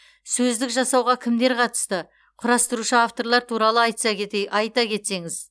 сөздік жасауға кімдер қатысты құрастырушы авторлар туралы айтса кетей айта кетсеңіз